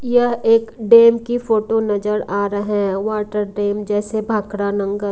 यह एक डेम की फोटो नजर आ रही है वाटर डेम जैसे भाखरा नं--